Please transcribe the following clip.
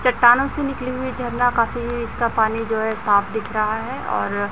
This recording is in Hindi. चट्टानों से निकली हुई झरना काफी इसका पानी हो हैं साफ दिख रहा है और--